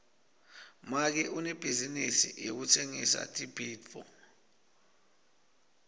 make unebhizinisi yekutsengisa tibhidvo